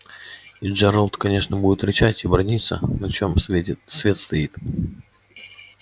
и джералд конечно будет рычать и браниться на чем светит свет стоит